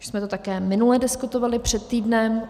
Už jsme to také minule diskutovali, před týdnem.